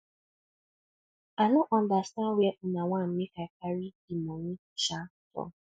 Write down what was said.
i no understand where una wan make i carry the money um from